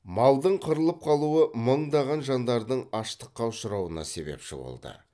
малдың қырылып қалуы мыңдаған жандардың аштыққа ұшырауына себепші болды